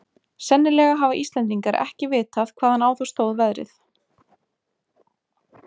Sennilega hafa Íslendingar ekki vitað hvaðan á þá stóð veðrið.